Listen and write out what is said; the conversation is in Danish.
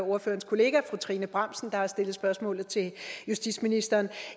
ordførerens kollega fru trine bramsen der har stillet spørgsmålet til justitsministeren